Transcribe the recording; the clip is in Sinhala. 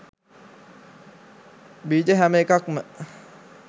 බීජ හැම එකක්ම